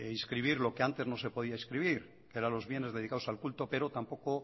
inscribir lo que ante no se podía inscribir que eran los bienes dedicados al culto pero tampoco